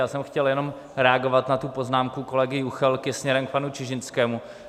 Já jsem chtěl jenom reagovat na tu poznámku kolegy Juchelky směrem k panu Čižinskému.